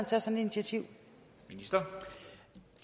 tage initiativ